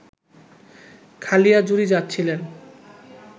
খালিয়াজুড়ি যাচ্ছিলেন